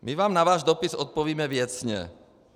My vám na váš dopis odpovíme věcně.